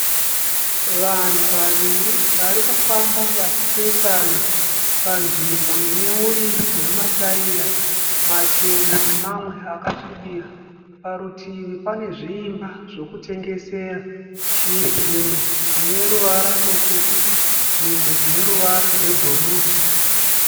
Vanhu vaviri vari kufamba vachipesana panzvimbo ine uriri hwemataira machena nemamwe akasvibira. Parutivi pane zviimba zvekutengesera. Zvimwe zvine ruvara rutsvuku zvimwe zvine ruvara rwebhuruu.